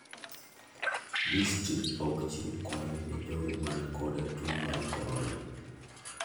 District ok chiw kony ne jogo man koda tuo mar korona.